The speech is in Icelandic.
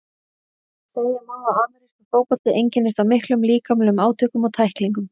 Segja má að amerískur fótbolti einkennist af miklum líkamlegum átökum og tæklingum.